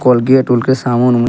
कोलगेट - उलगेट साबुन-ऊबुन --